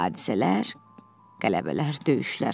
Hadisələr, qələbələr, döyüşlər.